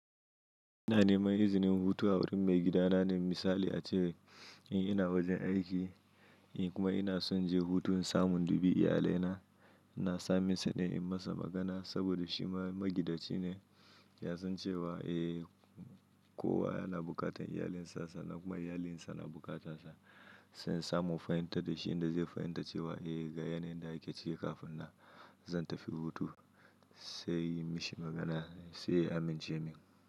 Ina neman izinin hutu a wurin maigidana ne misali ace in ina wajen aiki, in kuma ina son je hutu in samu in dubi iyalaina. Na same shi ne in masa magana saboda shi magidaci ne. Ya san cewa, eh kowa yana buƙatar iyalinsa, sannan kuma iyalinsa na bukarta sa. Sai in samu in fahimtar da shi inda zai fahimta cewa, eh ga yanayin da ake cike kafin na zan tafi hutu. Sai inyi mishi magana sai ya amince min.